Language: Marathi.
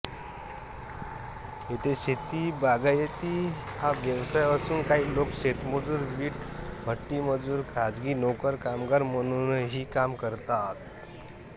येथे शेतीबागायती हा व्यवसाय असून काही लोक शेतमजूर वीटभट्टीमजूर खाजगी नोकर कामगार म्हणूनही काम करतात